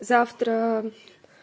завтра